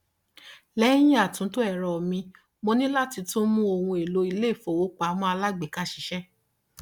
lẹyìn àtúntò ẹrọ mi mo ní láti tún mú ohun èlò iléifowópamọ alágbèéká ṣiṣẹ